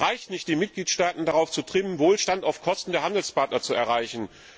Es reicht nicht, die Mitgliedstaaten darauf zu trimmen, Wohlstand auf Kosten der Handelspartner zu erreichen.